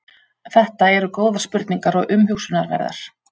Þetta eru góðar spurningar og umhugsunarverðar.